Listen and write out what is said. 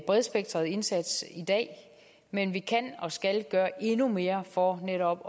bredspektret indsats i dag men vi kan og skal gøre endnu mere for netop